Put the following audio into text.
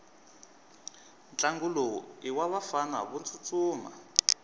ntlangu lowu iwavafana votsutsuma